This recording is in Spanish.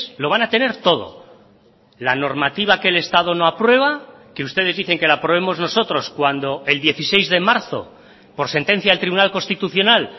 lo van a tener todo la normativa que el estado no aprueba que ustedes dicen que la aprobemos nosotros cuando el dieciséis de marzo por sentencia del tribunal constitucional